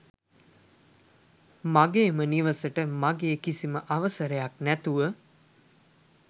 මගේම නිවසට මගේ කිසිම අවසරයක්‌ නැතුව